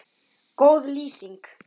Góð lýsing?